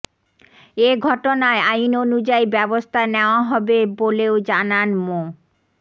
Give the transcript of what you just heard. এঘটনায় আইন অনুযায়ী ব্যবস্থা নেওয়া হবে বলেও জানান মো